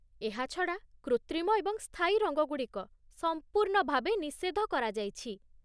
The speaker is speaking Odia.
ଏହା ଛଡ଼ା, କୃତ୍ରିମ ଏବଂ ସ୍ଥାୟୀ ରଙ୍ଗଗୁଡ଼ିକ ସମ୍ପୂର୍ଣ୍ଣ ଭାବେ ନିଷେଧ କରା ଯାଇଛି!